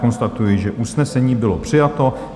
Konstatuji, že usnesení bylo přijato.